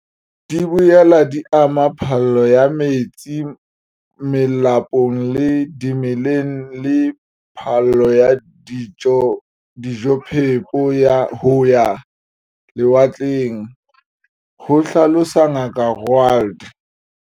Di boela di ama phallo ya metsi melapong le dimeleng le phallo ya dijophepo ho ya lewatleng, ho hlalosa Ngaka Roualt.